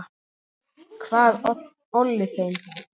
Hvað olli þeim?